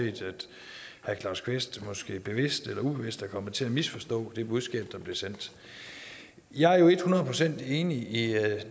herre claus kvist måske bevidst eller ubevidst er kommet til at misforstå det budskab der blev sendt jeg er jo et hundrede procent enig i